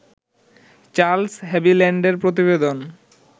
Charles হাভিল্যান্ডের প্রতিবেদন